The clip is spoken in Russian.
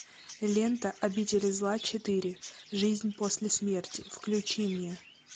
лента обитель зла четыре жизнь после смерти включи мне